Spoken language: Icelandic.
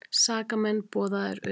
SAKAMENN BOÐAÐIR UTAN